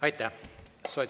Aitäh!